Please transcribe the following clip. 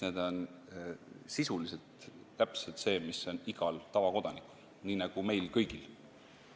Need on sisuliselt täpselt needsamad, mis on igal tavakodanikul, nii nagu meil kõigil.